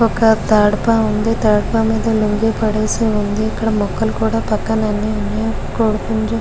ఒక తడప ఉంది తడప మీద లుంగీ పడేసి ఉంది ఇక్కడ మొక్కలు కూడా అన్ని ఉన్నాయి. కోడిపుంజు --